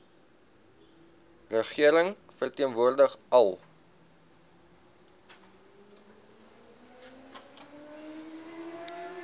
regering verteenwoordig al